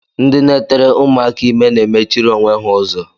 Ndị na-etere ụmụaka ime na-emechiri onwe ha ụzọ